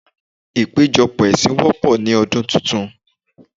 Ìpéjọpọ̀ ẹ̀sìn wọ́pọ̀ ní ọdún titun.